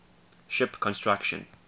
ship construction